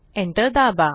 enter दाबा